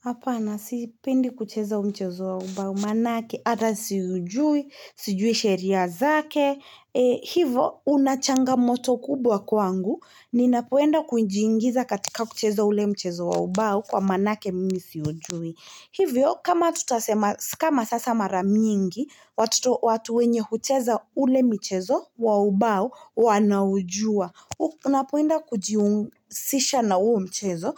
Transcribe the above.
Hapana, sipendi kucheza mchezo ambao manake, hata siujui, sijui sheria zake, hivo unachangamoto kubwa kwangu, ninapoenda kujiingiza katika kucheza ule mchezo wa ubao kwa manake mimi siujui. Hivyo, kama tutasema, kama sasa mara nyingi, watu wenye hucheza ule mchezo, wa ubao, wanaujua. Unapoenda kujihusisha na huo mchezo.